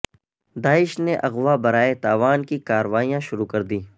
داعش نے اغوا برائے تاوان کی کارروائیاں شروع کر دیں